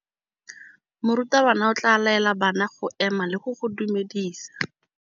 Morutabana o tla laela bana go ema le go go dumedisa.